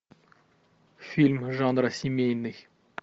фильм жанра семейный